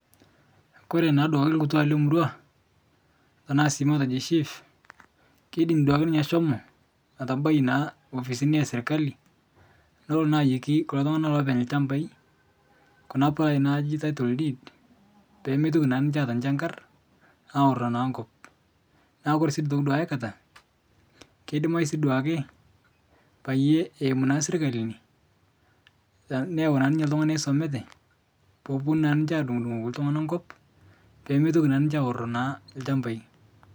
Kore naaduake lkutwaa lemurwaa tanaa sii matejo shif keidim duake ninye ashomo atabai naa ofisini esirkali nolo naa ayeikii kulo tung'ana loopeny lchambai kuna palai naaji tittle deed peemeitoki naa ninche aata nchankar aoro naa nkop. Naaku kore siduake aikata keidimai sii duake payie naa eimu sirkali ine, neyeu naa ninche ltung'ana oisomate peoponu naa ninche adung'udung'oki ltung'ana nkop peemetoki naa ninche aoro naa lchambai.